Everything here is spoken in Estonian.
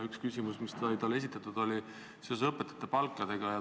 Üks küsimusi, mis sai talle esitatud, oli õpetajate palkade kohta.